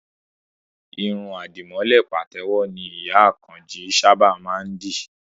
Irun àdìmọ́lẹ̀ pàtẹ́wọ́ ni ìyá Àkànjí sábà má ń dì